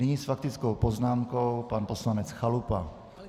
Nyní s faktickou poznámkou pan poslanec Chalupa.